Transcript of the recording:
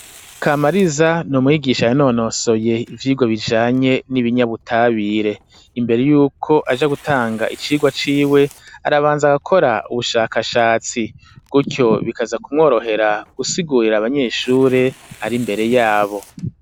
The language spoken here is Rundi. Kamariza n'umwigisha ya nonosoye ivyirwa bijanye n'ibinyabutabire imbere yuko aja gutanga icirwa ciwe arabanza agakora ubushakashatsi gutyo bikaza ku mworohera gusigurira abanyeshuri ari mbere yabo.